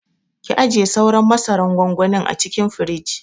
Ki ajiye sauran masaran gwangwanin a cikin firij.